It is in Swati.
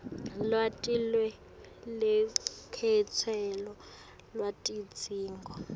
lwati lwelukhetselo lwetidzingo